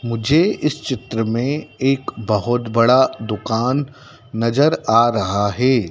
मुझे इस चित्र में एक बहुत बड़ा दुकान नजर आ रहा है।